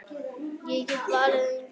Ég get varla gengið.